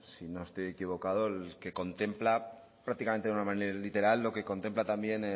si no estoy equivocado el que contempla prácticamente en una manera literal lo que contempla también